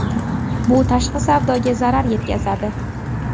Bu tashqi savdoga zarar yetkazadi.